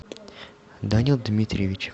данил дмитриевич